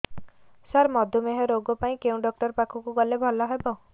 ସାର ମଧୁମେହ ରୋଗ ପାଇଁ କେଉଁ ଡକ୍ଟର ପାଖକୁ ଗଲେ ଭଲ ହେବ